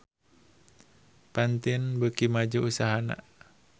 Pantene beuki maju usahana